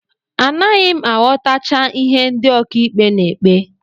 Anaghị m aghọtacha ihe ndị ọkàikpe na-ekpe